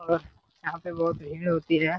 और यहां पे बहुत भीड़ होती हैं।